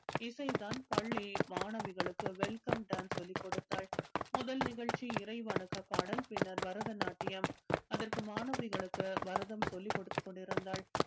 இசை தான் பள்ளி மாணவிகளுக்கு welcome dance சொல்லிக் கொடுத்தாள் முதல் நிகழ்ச்சி இறை வணக்கப் பாடல் பின்னர் பரதநாட்டியம் அதற்கு மாணவிகளுக்கு பரதம் சொல்லிக் கொடுதுத்க் கொண்டிருந்தாள்